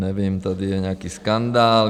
Nevím, tady je nějaký skandál.